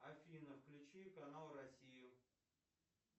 афина включи канал россию